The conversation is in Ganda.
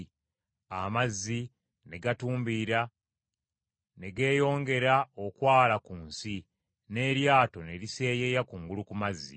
Amazzi ne gatumbiira ne geeyongera okwala ku nsi, n’eryato ne liseeyeeya kungulu ku mazzi.